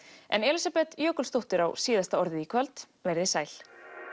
en Elísabet Jökulsdóttir á síðasta orðið í kvöld veriði sæl